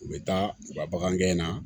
U bɛ taa u ka bagan gɛn na